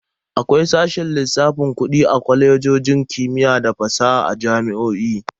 Akwai sashen lissafin Kudi a Kwalejojin kimiyya da fasaha da jami'o'i.